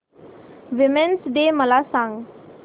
women's day मला सांग